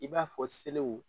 I b'a fɔ seliw.